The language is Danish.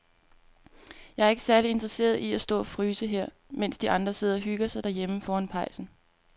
Jeg er ikke særlig interesseret i at stå og fryse her, mens de andre sidder og hygger sig derhjemme foran pejsen.